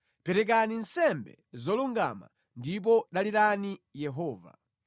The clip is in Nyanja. Perekani nsembe zolungama ndipo dalirani Yehova.